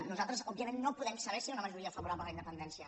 nosaltres òbviament no podem saber si hi ha una majoria favorable a la independència